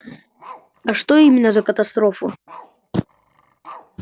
а что именно за катастрофу